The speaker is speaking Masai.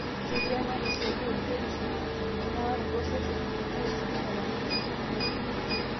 Ketii ene historia e biotisho, enking'uraroto osesen, empisha ositima tenebo enkipimoto.